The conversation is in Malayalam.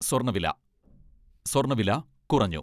സ്വർണ്ണവില സ്വർണ്ണവില കുറഞ്ഞു.